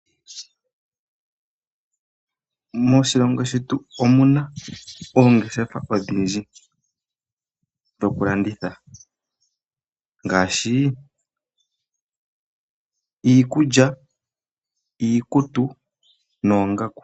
Moshilongo shetu omuna oongeshefa odhindji dhokuladitha ngaashi: iikulya, iikutu, noongaku.